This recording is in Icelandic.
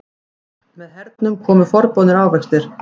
Með hernum komu forboðnir ávextir.